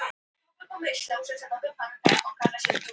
Eftir það gekk hvorki né rak þar til hún fór í glasafrjóvgun.